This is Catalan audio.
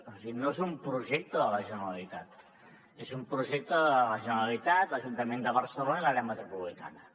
o sigui no és un projecte de la generalitat és un projecte de la generalitat l’ajuntament de barcelona i l’àrea metropolitana